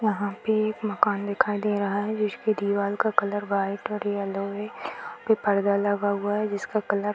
यहाँ पे एक मकान दिखाई दे रहा है जिसकी दीवाल का कलर व्हाइट और येलो है यहहाँ पे पर्दा लगा हुआ है जिसका कलर --